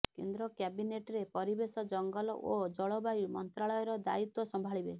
କେନ୍ଦ୍ର କ୍ୟାବିନେଟରେ ପରିବେଶ ଜଙ୍ଗଲ ଓ ଜଳବାୟୁ ମନ୍ତ୍ରାଳୟର ଦାୟିତ୍ୱ ସମ୍ଭାଳିବେ